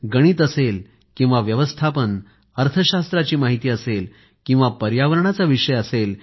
गणित असेल किंवा व्यवस्थापन अर्थशास्त्राची माहिती असेल किंवा पर्यावरणाचा विषय असेल